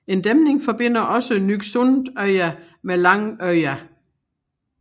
En dæmning forbinder også Nyksundøya med Langøya